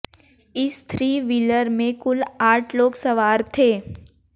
इस three wheeler में कुल आठ लोग सवार थे